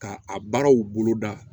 Ka a baaraw bolo da